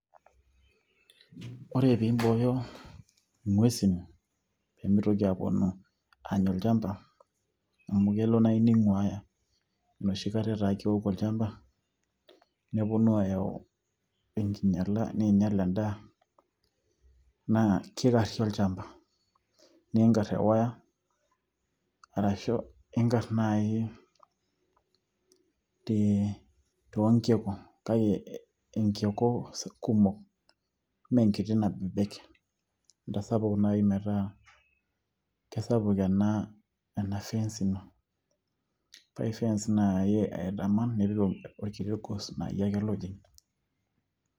ore piimbooyo ing'uesin peemitoki aponu aanya olchamba naa amu kelo ning'uaya enoshi kata etaa keoku olchamba neponu aayau enkinyiala neinyial endaa naa kikarri olchamba niinkarr tewaya arashu inkarr naaji tee toonkiku kake enkiku kumok mee enkiti nabebek intasapuk naaji metaa kesapuk ena fence ino, ore fence naa iya aitaman nipik orkiti gos laayie ake ojing.